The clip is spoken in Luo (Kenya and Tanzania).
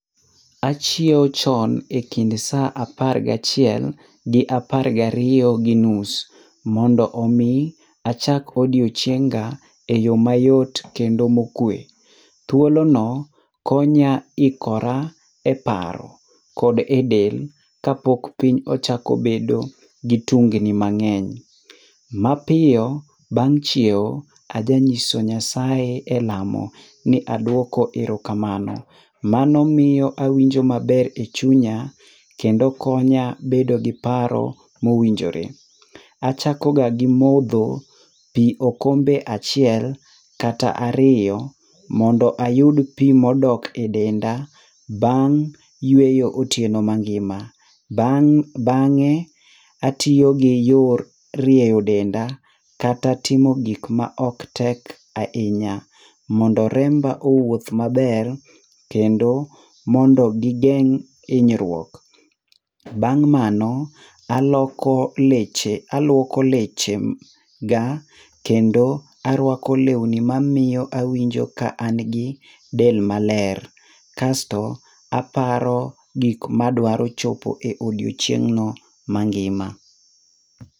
Achiew chon ekind saa apar gachiel gi apar gariyo ginus, mondo omi achak odie chienga eyo mayot kendo mokue. Thuolono konya ikora eparo kod edel, kapok piny ochako bedo gi tungni mang'eny. Mapiyo bang' chiew, aja nyiso Nyasaye elamo ni aduoko erokamano. Mano miyo awinjo maber e chunya, kendo konya bedo gi paro mowinjore. Achakoga gi modho pi okombe achiel, kata ariyo mondo ayud pi modok edenda bang' yueyo otieno mangima. Bang' bang'e, atiyo gi yor rieyo denda kata timo gik ma ok tek ahinya, mondo remba owuoth maber, kendo mondo gigeng' hinyruok. Bang' mano aloko leche aluoko lechega kendo aruako lewni mamiyo awinjo ka an gi del maler. Kasto aparo gik ma adwaro chopo e odiechieng' no mangima.